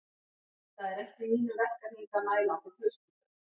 Það er ekki í mínum verkahring að mæla á þér hauskúpuna